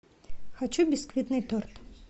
хочу бисквитный торт